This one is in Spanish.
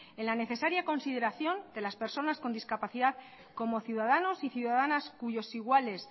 en la necesario consideración de las personas con discapacidad como ciudadanos y ciudadanas cuyos iguales